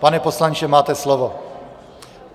Pane poslanče, máte slovo.